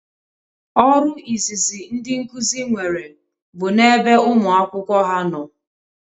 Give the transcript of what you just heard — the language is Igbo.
Ọrụ izizi ndị nkuzi nwere bụ na ebe ụmụ akwụkwọ ha nọ